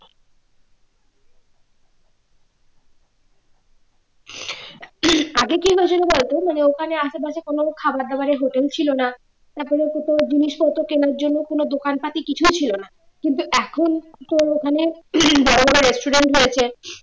আগে কি হয়েছিল বলতো মানে ওখানে আশেপাশে কোনো খাবার দাবার এর hotel ছিলই না তারপরে কিন্তু জিনিসপত্র কেনার জন্য কোন দোকানপাট কিছুই ছিল না এখন তোর ওখানে বড়োবড়ো resaturant হয়েছে